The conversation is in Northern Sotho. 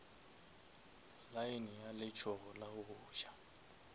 lane ya letsogo la goja